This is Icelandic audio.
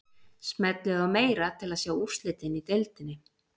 Smellið á meira til að sjá úrslitin í deildinni.